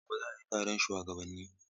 Gobe ​​za'a yi taron shuwagabanni?